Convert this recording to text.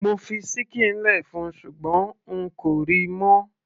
mo fi ṣíkìn lẹ fún ṣùgbọ́n n kò ríi mọ́